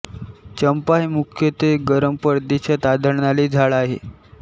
चंपा हे मुख्यत्वे गरम प्रदेशांत आढळणारे झाड आहे